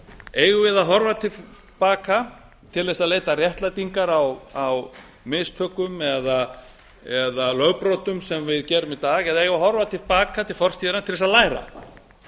eigum við að horfa til baka til þess að leita réttlætingar á mistökum eða lögbrotum sem við gerðum í dag eða eigum við að horfa til baka til fortíðarinnar til þess að læra